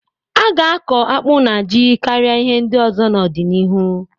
A ga-akọ akpụ na ji karịa ihe ndị ọzọ n'ọdịnihu.